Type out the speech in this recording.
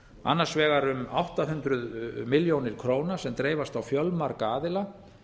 annars vegar um átta hundruð milljóna króna sem dreifast á fjölmarga aðila